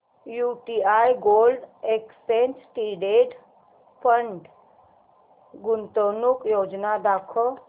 UTI gold exchange traded fund गुंतवणूक योजना दाखव